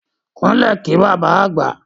Kúnlẹ̀ kí bàbá àgbà!